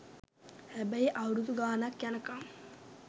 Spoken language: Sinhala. හැබැයි අවුරුදු ගානක් යනකම්